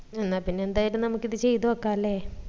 എന്നാ പിന്നാ എന്തായിലും നമ്മക്ക് ഇത് ചെയ്ത് നോക്കാ അല്ലെ